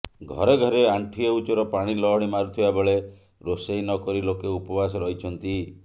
ଘରେ ଘରେ ଆଣ୍ଡୁଏ ଉଚ୍ଚର ପାଣି ଲହଡ଼ି ମାରୁଥିବା ବେଳେ ରୋଷେଇ ନକରି ଲୋକେ ଉପବାସ ରହିଛନ୍ତି